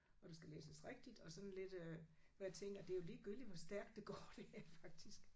Og det skal læses rigtigt og sådan lidt øh hvor jeg tænker det er jo ligegyldigt hvor stærkt det går det her faktisk